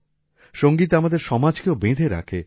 সংগীত আমাদের সমাজকেও বেঁধে রাখে